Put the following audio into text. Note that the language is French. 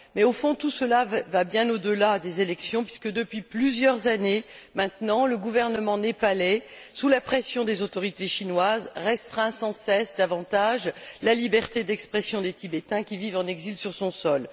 Mais au fond, tout cela va bien au delà des élections puisque, depuis plusieurs années maintenant, le gouvernement népalais, sous la pression des autorités chinoises, restreint sans cesse davantage la liberté d'expression des Tibétains qui vivent en exil sur son sol.